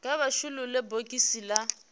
kha vha shulule bogisi la